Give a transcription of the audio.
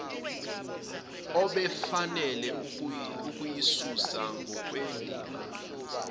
obefanele ukuyisusa ngokwendima